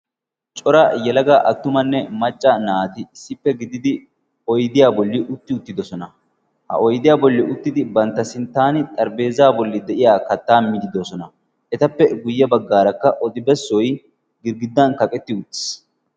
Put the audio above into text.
cora yalaga attumanne macca naati issippe gididi oydiyaa bolli utti uttidosona ha oydiyaa bolli uttidi bantta sinttaani xaribeeza bolli de'iya kattaa miidi dosona etappe guyye baggaarakka odibessoy girggiddan kaqetti uttiis